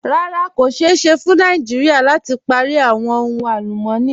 Rárá, kò ṣéè ṣẹ́ fún Nàìjíríà láti pári awọn ohun alùmọ̀ní.